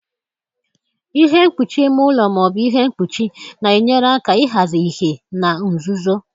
Ihe mkpuchi ime ụlọ ma ọ bụ ihe mkpuchi na-enyere aka ịhazi ìhè na nzuzo.